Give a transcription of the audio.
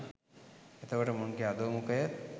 එතකොට මුන්ගෙ අධෝ මුඛය